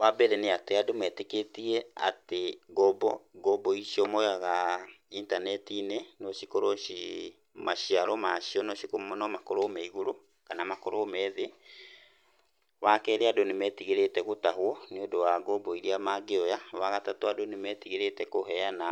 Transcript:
Wambere nĩ atĩ andũ metĩkĩtie atĩ ngombo icio moyaga intanetiinĩ no cikorwo ci, maciaro macio no makorwo me igũrũ kana makorwo me thĩ. Wakerĩ andũ nĩ metigĩrĩte gũtahũo nĩũndũ wa gombo ĩrĩa mangĩoya, wa gatatũ andũ nĩ metigĩrĩte kũheana